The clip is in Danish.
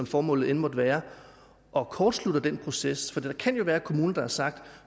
formålet end måtte være og kortslutter den proces der kan jo være kommuner der har sagt at